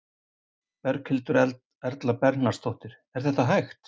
Berghildur Erla Bernharðsdóttir: Er það hægt?